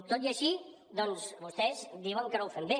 tot i així vostès diuen que no ho fem bé